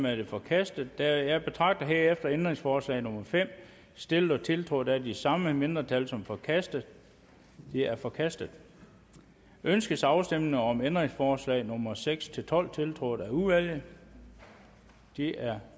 er forkastet jeg betragter herefter ændringsforslag nummer fem stillet og tiltrådt af de samme mindretal som forkastet det er forkastet ønskes afstemning om ændringsforslag nummer seks tolv tiltrådt af udvalget de er